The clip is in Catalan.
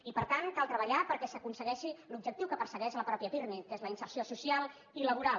i per tant cal treballar perquè s’aconsegueixi l’objectiu que persegueix el mateix pirmi que és la inserció social i laboral